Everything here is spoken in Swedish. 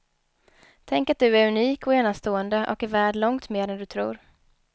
Tänk att du är unik och enastående och värd långt mer än du tror.